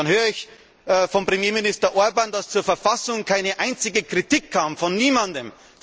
Dann höre ich von Premierminister Orbán, dass zur Verfassung keine einzige Kritik kam, von niemandem.